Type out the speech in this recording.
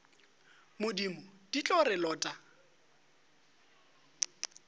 modimo di tlo re lota